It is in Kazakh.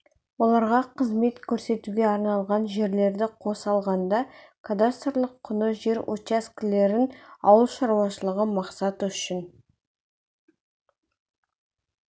оларға қызмет көрсетуге арналған жерлерді қоса алғанда кадастрлық құны жер учаскелерін ауыл шаруашылығы мақсаты үшін